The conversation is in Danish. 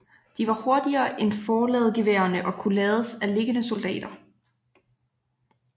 De var hurtigere end forladegeværerne og kunne lades af liggende soldater